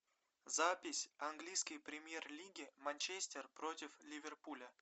запись английской премьер лиги манчестер против ливерпуля